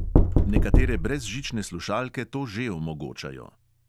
Nekatere brezžične slušalke to že omogočajo.